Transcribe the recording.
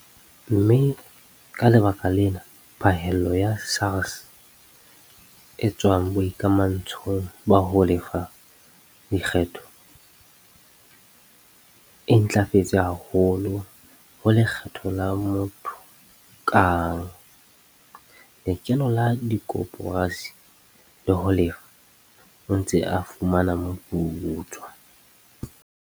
Mme ka lebaka lena phahello ya SARS e tswang boikamantsho ba ho lefa lekgetho e ntlafetse haholo ho lekgetho la motho kang, lekeno la dikoporasi le ho Lefa o Ntse o Fumana Moputso.